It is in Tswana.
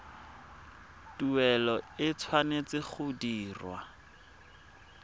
tuelo e tshwanetse go dirwa